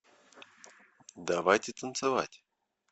давайте танцевать